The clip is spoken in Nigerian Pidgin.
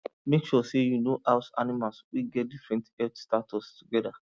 make sure say you no house animals wey get different health status together